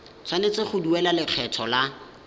tshwanetse go duela lekgetho la